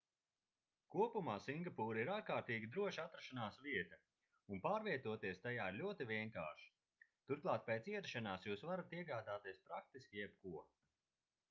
kopumā singapūra ir ārkārtīgi droša atrašanās vieta un pārvietoties tajā ir ļoti vienkārši turklāt pēc ierašanās jūs varat iegādāties praktiski jebko